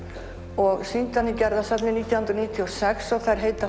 og sýndi hana í Gerðarsafni nítján hundruð níutíu og sex og þær heita